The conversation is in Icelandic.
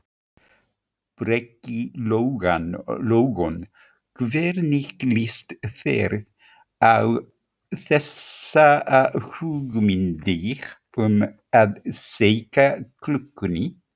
Breki Logason: Hvernig líst þér á þessar hugmyndir um að seinka klukkunni?